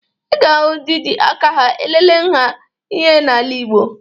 Ị ga-ahụ ndị ji aka aha elele nha ihe n'ala Igbo